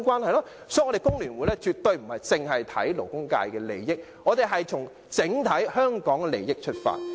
所以，我們工聯會絕非單看勞工界的利益，而是從整體香港的利益出發。